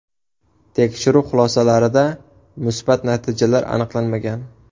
Tekshiruv xulosalarida musbat natijalar aniqlanmagan.